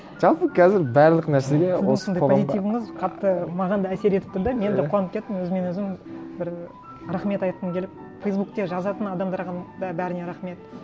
жалпы қазір барлық нәрсеге осындай позитивіңіз қатты маған да әсер етіп тұр да мен де қуанып кеттім өзіммен өзім бір рахмет айтқым келіп фейсбукте жазатын адамдарға да бәріне рахмет